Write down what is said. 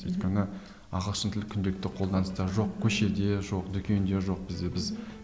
өйткені ағылшын тілі күнделікті қолданыста жоқ көшеде жоқ дүкенде жоқ бізде біз